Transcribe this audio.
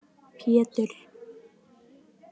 Pétur